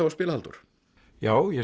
að spila Halldór já ég